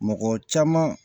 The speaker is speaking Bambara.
Mɔgɔ caman